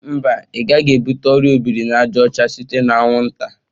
Mba, ị gaghị ebute ọrịa ọ biri na àjà ọcha site na anwụnta.